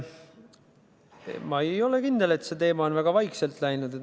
Ma ei ole kindel, et see teema on väga vaikselt läinud.